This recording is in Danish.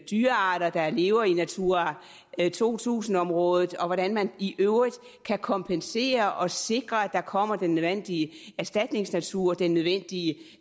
dyrearter der lever i natura to tusind området og hvordan man i øvrigt kan kompensere og sikre at der kommer den nødvendige erstatningsnatur den nødvendige